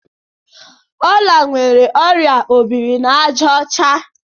Ọla nwere ọrịa obirinaàjàọcha.